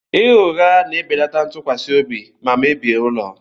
Ịgha ụgha na-ebelata ntụkwasị obi ma mebie ụlọ.